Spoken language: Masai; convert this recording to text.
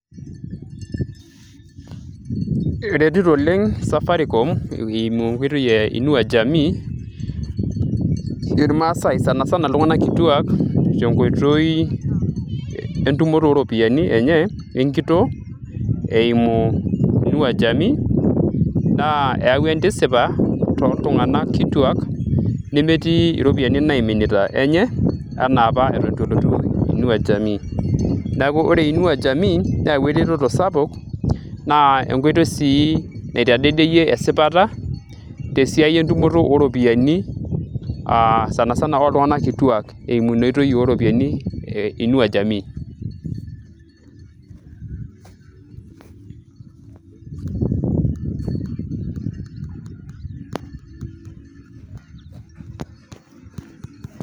eretito oleng safaricom eimu enkoitoi e inua jamii irmaasay sanasana iltung'anak kituak tenkoitoi entumoto ooropiyiani enye enkitoo eimu inua jamii naa eyawua entisipa toltung'anak kituak nemetii iropiyiani naiminita enye ena apa eton eitu elotu inua jamii neeku ore inua jamii neyawua eretoto sapuk naa enkoitoi sii naitadedeyie esipata tesiai entumoto ooropiyiani aa sanasana oltung'anak kituak eimu ina oitoi ooropiyiani e inua jamii.